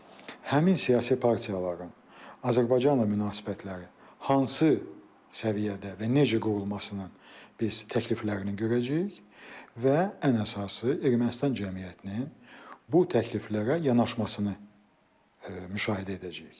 Həmin siyasi partiyaların Azərbaycanla münasibətləri hansı səviyyədə və necə qurulmasının biz təkliflərini görəcəyik və ən əsası Ermənistan cəmiyyətinin bu təkliflərə yanaşmasını müşahidə edəcəyik.